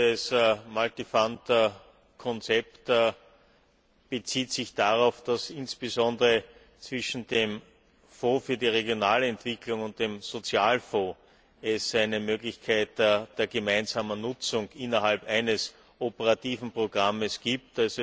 Dieses Konzept bezieht sich darauf, dass es insbesondere zwischen dem Fonds für die Regionalentwicklung und dem Sozialfonds eine Möglichkeit der gemeinsamen Nutzung innerhalb eines operativen Programms gibt.